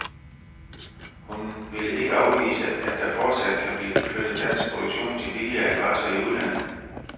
Hun vil ikke afvise, at der fortsat kan blive flyttet dansk produktion til billigere adresser i udlandet.